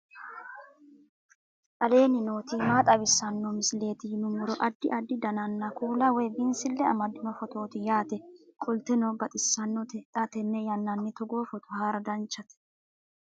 aleenni nooti maa xawisanno misileeti yinummoro addi addi dananna kuula woy biinsille amaddino footooti yaate qoltenno baxissannote xa tenne yannanni togoo footo haara danchate